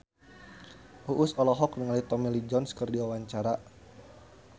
Uus olohok ningali Tommy Lee Jones keur diwawancara